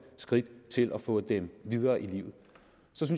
skridt til at få dem videre i livet